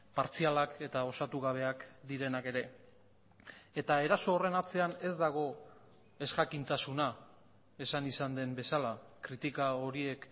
partzialak eta osatu gabeak direnak ere eta eraso horren atzean ez dago ezjakintasuna esan izan den bezala kritika horiek